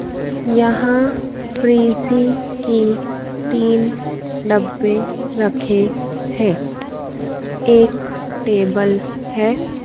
यहां फ्रिजी की तीन डब्बे रखे हैं एक टेबल है।